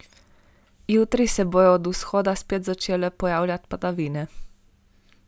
Jutri se bodo od vzhoda spet začele pojavljati padavine.